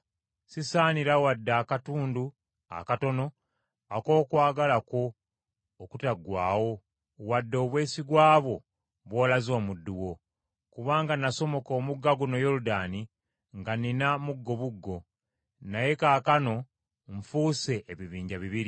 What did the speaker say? sisaanira wadde akatundu akatono ak’okwagala kwo okutaggwaawo, wadde obwesigwa bwonna bw’olaze omuddu wo. Kubanga nasomoka omugga guno Yoludaani nga nnina muggobuggo; naye kaakano nfuuse ebibinja bibiri.